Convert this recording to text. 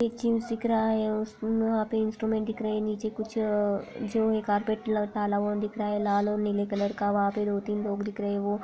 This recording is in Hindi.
एक जिम दिख रहा है उस वहाँ पे इंस्ट्रूमेंट दिख रहे हैं नीचे कुछ अ जो कारपेट लगाया हुआ दिख रहा है लाल और नीले कलर का वहाँ पे दो तीन लोग दिख रहे है वो--